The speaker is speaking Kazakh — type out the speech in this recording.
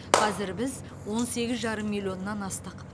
қазір біз он сегіз жарым миллионнан астық